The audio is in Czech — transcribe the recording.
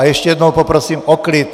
A ještě jednou poprosím o klid!